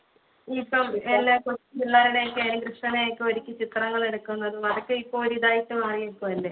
ഇപ്പൊ എല്ലാരുടെ കുട്ടികളെ ഒക്കെ കൃഷ്ണനെ ഒക്കെ ഒരുക്കിയിട്ട് ചിത്രങ്ങൾ എടുക്കുന്നതും അതൊക്കെ ഇപ്പൊ ഇതായിട്ട് മാറിപോയില്ലേ